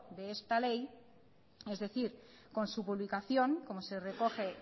de esta ley es decir con su publicación como se recoge